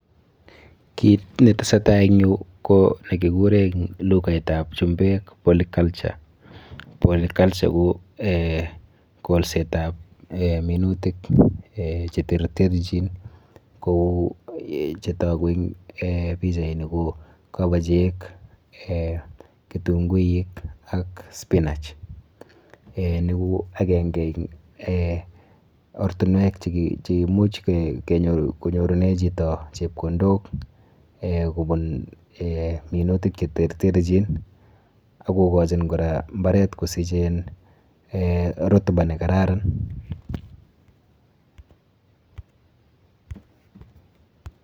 Kit netesetai eng yu ko nekikure eng lukaitap chumbek polyculture polyculture ko eh kolsetap eh minutik eh cheterterchin kou chetoku en pichaini ko:Kobochek, kitunguik ak spinach. Eh ni ko akenke eng eh ortinwek cheimuch konyorune chito chepkondok eh kobun eh minutik cheterterchin akokochin kora mbaret kosich eh rotuba nekararan.